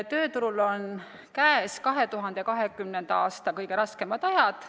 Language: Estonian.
Tööturul on käes 2020. aasta kõige raskemad ajad.